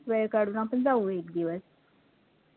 वेळ काढून आपण जाऊ एकदिवस